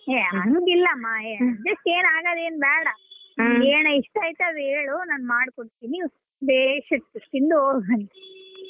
ಹೆ ಆಂಗಿಲ್ಲಮ್ಮ ಹೆ adjust ಏನ್ ಆಗೋದೇನ್ ಬೇಡ ನಿಂಗ್ ಏನ್ ಇಷ್ಟ ಐತೆ ಅದ್ ಹೇಳು ನಾನ್ ಮಾಡ್ ಕೊಡ್ತೀನಿ ಬೇಸ್ ಇರ್ತದೆ ತಿಂದು ಹೋಗುವಂತೆ.